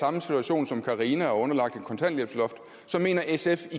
samme situation som carina og underlagt et kontanthjælpsloft så mener sf